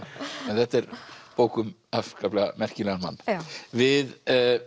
þetta er bók um afskaplega merkilegan mann við